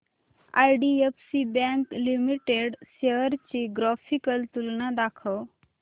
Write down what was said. IDFC bank limited shares ची graphical तुलना दाखव